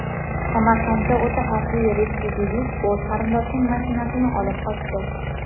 Samarqandda o‘ta xavfli retsidivist o‘z qarindoshining mashinasini olib qochdi.